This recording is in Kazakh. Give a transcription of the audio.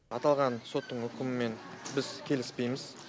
аталған соттың үкімімен біз келіспейміз